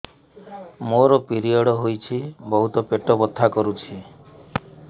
ମୋର ପିରିଅଡ଼ ହୋଇଛି ବହୁତ ପେଟ ବଥା କରୁଛି